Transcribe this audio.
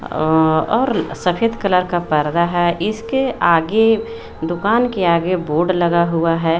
और सफेद कलर का पर्दा है इसके आगे दुकान के आगे बोर्ड लगा हुआ है।